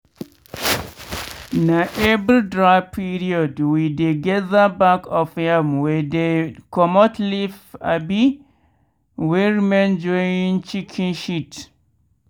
na every dry period wey dey gather back of yam wey dem comot leaf abi wey remain join chicken shit.